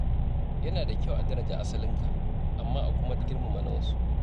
Yana da kyau a daraja asalinka, amma a kuma girmama na wasu.